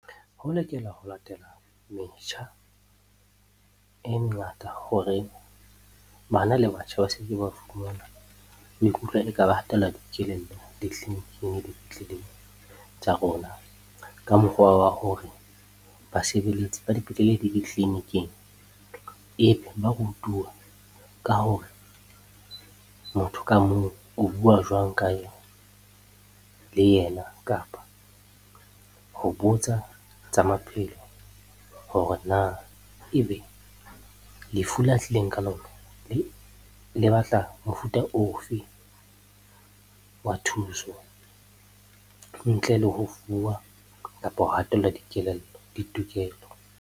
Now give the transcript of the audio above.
Ho lokela ho latela metjha e mengata hore bana le batjha ba se ke ba fumana ba hatellwa dikelello ditleliniking, dipetleleng tsa rona. Ka mokgwa wa hore basebeletsi ba dipetlele le ditleniking ebe ba rutuwa ka hore motho ka mong o bua jwang ka le yena. Kapa ho botsa tsa maphelo hore na ebe lefu la tlileng ka lona le batla mofuta ofe wa thuso? Ntle le ho fuwa kapa ho hatellwa dikelello ditokelo.